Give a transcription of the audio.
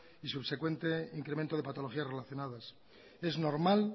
y subsecuente incremento de patologías relacionadas es normal